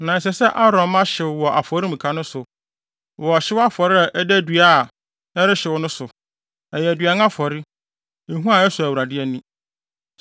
Na ɛsɛ sɛ Aaron mma hyew wɔ afɔremuka no so, wɔ ɔhyew afɔre a ɛda dua a ɛrehyew no so; ɛyɛ aduan afɔre, ehua a ɛsɔ Awurade ani.